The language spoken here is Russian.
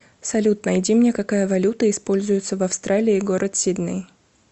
салют найди мне какая валюта используется в австралии город сидней